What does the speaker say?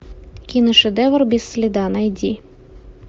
киношедевр без следа найди